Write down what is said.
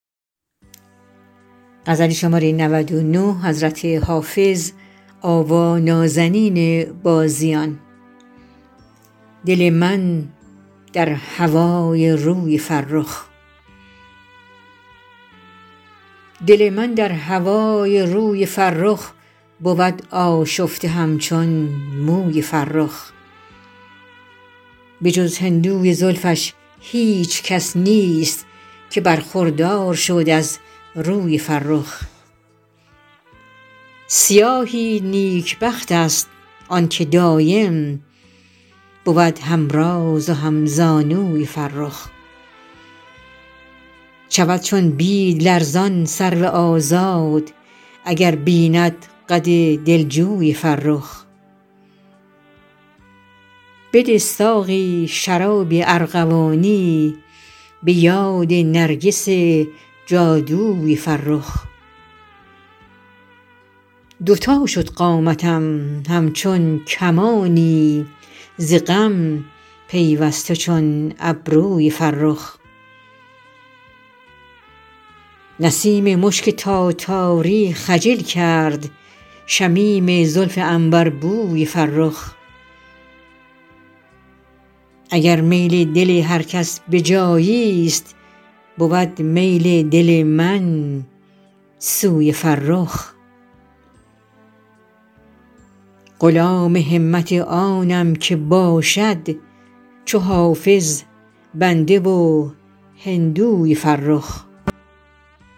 دل من در هوای روی فرخ بود آشفته همچون موی فرخ به جز هندوی زلفش هیچ کس نیست که برخوردار شد از روی فرخ سیاهی نیکبخت است آن که دایم بود هم راز و هم زانوی فرخ شود چون بید لرزان سرو آزاد اگر بیند قد دلجوی فرخ بده ساقی شراب ارغوانی به یاد نرگس جادوی فرخ دو تا شد قامتم همچون کمانی ز غم پیوسته چون ابروی فرخ نسیم مشک تاتاری خجل کرد شمیم زلف عنبربوی فرخ اگر میل دل هر کس به جایی ست بود میل دل من سوی فرخ غلام همت آنم که باشد چو حافظ بنده و هندوی فرخ